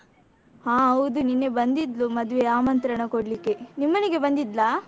ಹ ಹೌದು ನಿನ್ನೆ ಬಂದಿದ್ಲು ಮದುವೆ ಆಮಂತ್ರಣ ಕೋಡ್ಲಿಕೆ, ನಿಮ್ಮನೆಗೆ ಬಂದಿದ್ಲಾ?